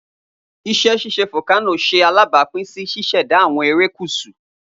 Iṣẹ ṣiṣe folkano ṣe alabapin si ṣiṣẹda awọn erekusu.